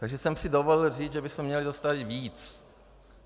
Takže jsem si dovolil říct, že bychom měli dostat víc.